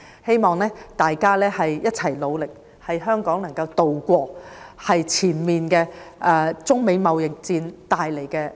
希望大家一起努力，協助香港渡過目前中美貿易戰帶來的風浪。